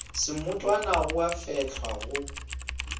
semotwana di a fehlwa go